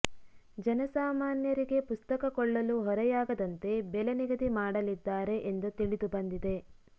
ಜನಸಾಮಾನ್ಯರಿಗೆ ಪುಸ್ತಕ ಕೊಳ್ಳಲು ಹೊರೆ ಯಾಗದಂತೆ ಬೆಲೆ ನಿಗದಿ ಮಾಡಲಿದ್ದಾರೆ ಎಂದು ತಿಳಿದುಬಂದಿದೆ